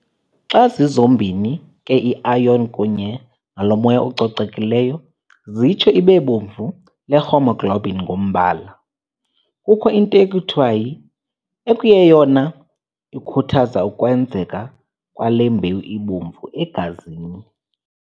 Xa zizombini ke iiiron kunye nalo moya ucocekileyo ziyitsho ibebomvu le haemoglobin ngombala. Kukho into ekuthiwa yi] ekuyeyona ikhuthaza ukwenzeka kwale mbewu ibomvu egazini.